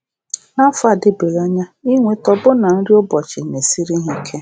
N’afọ adịbeghị anya, ịnweta ọbụna nri ụbọchị na-esiri ha ike.